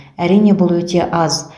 әрине бұл өте аз